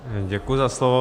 Děkuji za slovo.